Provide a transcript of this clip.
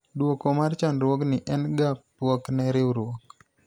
dwoko mar chandruogni en ga pwok ne riwruok